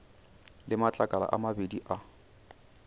le matlakala a mabedi a